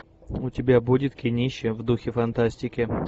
у тебя будет кинище в духе фантастики